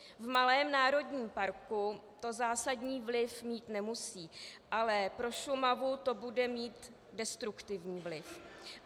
V malém národním parku to zásadní vliv mít nemusí, ale pro Šumavu to bude mít destruktivní vliv.